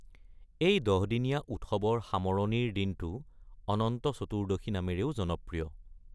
এই ১০ দিনীয়া উৎসৱৰ সামৰণিৰ দিনটো অনন্ত চতুৰ্দশী নামেৰেও জনপ্ৰিয়।